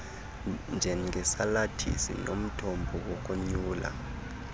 njengesalathisi nomthombo wokonyula